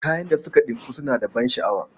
Kayan da suka ɗinku suna da ban sha'awa.